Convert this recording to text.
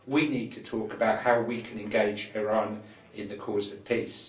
We need to talk about how we can engage Iran in the cause of peace.